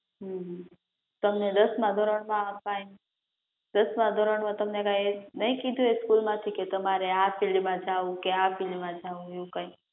હમ તમને દસમા ધોરણ માં અપાય દસમા ધોરણ માં તમને કઈ નહીં કીધું હોય કે સ્કૂલ માંથી કે તમારે આ ફિલ્ડ માં જાવું, કે આ ફિલ્ડ માં જાવું એવું કઈ